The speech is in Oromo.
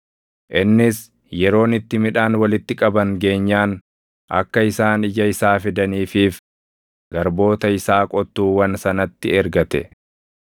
Innis yeroon itti midhaan walitti qaban geenyaan akka isaan ija isaa fidaniifiif garboota isaa qottuuwwan sanatti ergate.